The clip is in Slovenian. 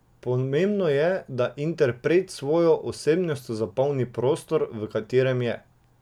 Pomembno je, da interpret s svojo osebnostjo zapolni prostor, v katerem je.